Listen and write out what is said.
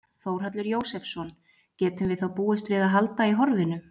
Þórhallur Jósefsson: Getum við þá búist við að halda í horfinu?